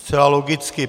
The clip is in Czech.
Zcela logicky.